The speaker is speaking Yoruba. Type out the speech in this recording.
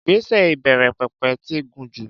Ìgbésẹ̀ ìbẹ̀rẹ̀pẹ̀pẹ̀ ti gùn jù.